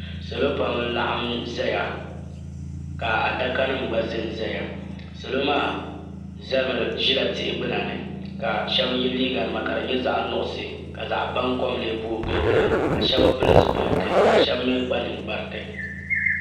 Salɔ pam n laɣim n zaya. ka a dakanim gba zan zaya. salɔmaaʒila tihi gbuna ni kashebi ye liiga nima ka di nyɛ zaɣi nuɣuso ka zaɣi ban kom lee bɔŋɔ giligili, ka shebi mi kpa nin kpari ti.